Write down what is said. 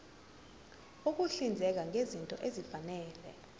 ukuhlinzeka ngezinto ezifanele